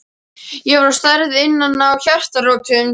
Ég er særð inn að hjartarótum.